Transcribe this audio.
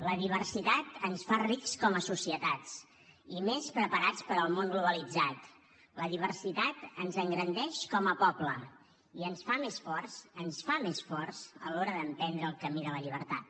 la diversitat ens fa rics com a societats i més preparats per al món globalitzat la diversitat ens engrandeix com a poble i ens fa més forts ens fa més forts a l’hora d’emprendre el camí de la llibertat